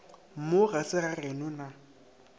mo ga se gageno na